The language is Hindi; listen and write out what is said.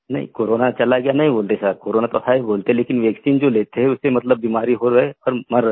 नहीं कोरोना चला गया नहीं बोलते सर कोरोना तो है बोलते लेकिन वैक्सीन जो लेते उससे मतलब बीमारी हो रहा है सब मर रहे है